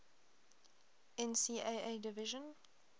ncaa division